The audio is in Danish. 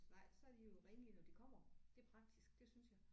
Nej så er de jo renlige når de kommer det er praktisk det synes jeg